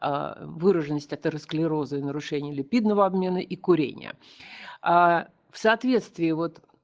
выраженность атеросклероза и нарушение липидного обмена и курение в соответствии вот